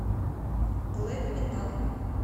глэм метал